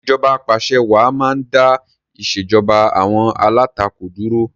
Ìṣèjoba Ap'àṣẹwàá máa ń dá ìṣèjoba àwọn alátakò dúró